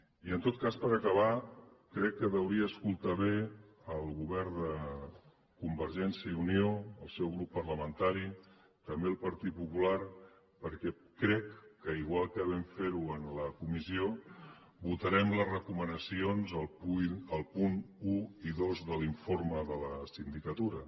i en tot cas per acabar crec que hauria d’escoltar bé el govern de convergència i unió el seu grup parlamentari també el partit popular perquè crec que igual que vam fer ho en la comissió votarem les recomanacions els punts un i dos de l’informe de la sindicatura